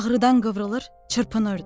Ağrıdan qıvrılır, çırpınırdı.